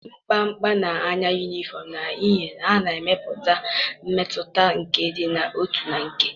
m kpamkpam n'anya uniforms n'ihi na ha na-emepụta mmetụta nke ịdị n'otu na nke.